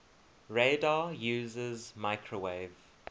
radar uses microwave